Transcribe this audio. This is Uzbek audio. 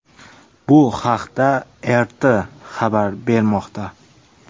Bu haqda RT xabar bermoqda .